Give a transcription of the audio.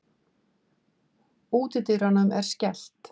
Útidyrunum er skellt.